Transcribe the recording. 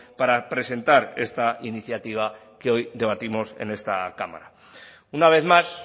para presentar esta iniciativa que hoy debatimos en esta cámara una vez más